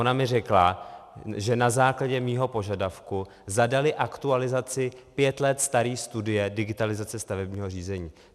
Ona mi řekla, že na základě mého požadavku zadali aktualizaci pět let staré studie digitalizace stavebního řízení.